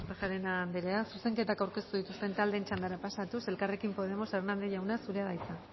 kortajarena andrea zuzenketak aurkeztu dituzte taldeen txandara pasatuz elkarrekin podemos hernández jauna zurea da hitza